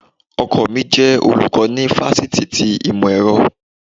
Ọkọ mi jẹ olùkọ́ ni fakọ́tì ti Ìmọ̀-ẹrọ.